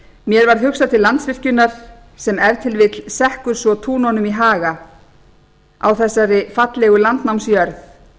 mér var hugsað til landsvirkjunar sem ef til vill sekkur svo túnunum í haga á þessari fallegu landnámsjörð